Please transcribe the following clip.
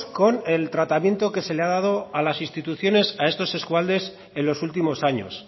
con el tratamiento que se le ha dado desde las instituciones a estos eskualdes en los últimos años